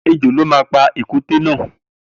Ejò ló ma pa pa èkúté náà